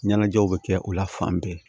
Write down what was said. Ɲɛnajɛw bɛ kɛ o la fan bɛɛ